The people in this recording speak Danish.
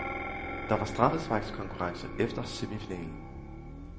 Der var straffesparkskonkurrence efter semifinalen.